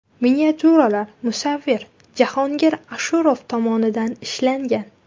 Miniatyuralar musavvir Jahongir Ashurov tomonidan ishlangan.